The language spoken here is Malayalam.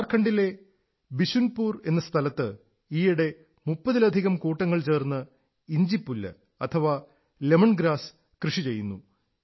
ഝാർഖണ്ഡിലെ ബിശുൻപുർ എന്ന സ്ഥലത്ത് ഈയിടെ 30 ലധികം കൂട്ടങ്ങൾ ചേർന്ന് ഇഞ്ചിപ്പുല്ല് ലമൺഗ്രാസ് കൃഷി ചെയ്യുന്നു